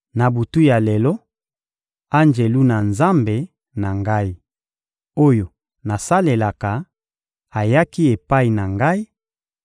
Na butu ya lelo, Anjelu na Nzambe na ngai, oyo nasalelaka, ayaki epai na ngai